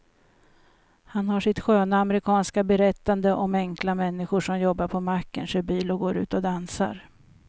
Han har sitt sköna amerikanska berättande om enkla människor som jobbar på macken, kör bil och går ut och dansar.